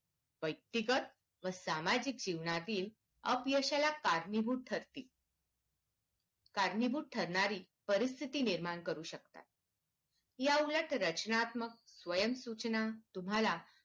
व्यक्तिगत व सामाजिक जीवनातील अपयशाला कारणीभूत ठरतील कारणीभूत ठरणारी परिस्थिती निर्माण करू शकतात या उलट रचनात्मक स्वयंसूचना तुम्हाला